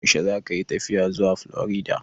Yaushe zakayi tafiya zuwa Florida?